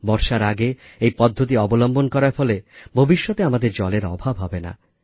বর্ষার আগে এই পদ্ধতি অবলম্বন করার ফলে ভবিষ্যতে আমাদের জলের অভাব হবে না